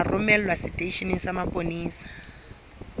tla romelwa seteisheneng sa mapolesa